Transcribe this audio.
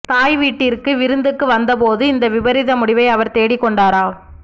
தாய் வீட்டிற்கு விருந்துக்கு வந்தபோது இந்த விபரீத முடிவை அவர் தேடிக்கொண்டார